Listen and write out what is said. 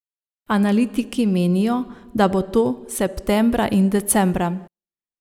Analitiki menijo, da bo to septembra in decembra.